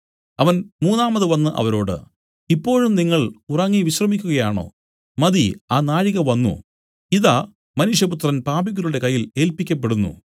അവൻ മൂന്നാമതു വന്നു അവരോട് ഇപ്പോഴും നിങ്ങൾ ഉറങ്ങി വിശ്രമിക്കുകയാണോ മതി ആ നാഴിക വന്നു ഇതാ മനുഷ്യപുത്രൻ പാപികളുടെ കയ്യിൽ ഏല്പിക്കപ്പെടുന്നു